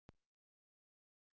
Hver er þeirra ábyrgt?